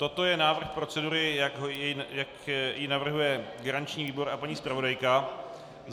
Toto je návrh procedury, jak ji navrhuje garanční výbor a paní zpravodajka.